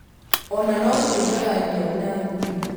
Ona no tũigaga nyau na ngui.